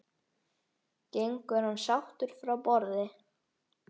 Gengur hann sáttur frá borði?